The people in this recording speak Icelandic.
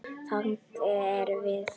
Þannig erum við.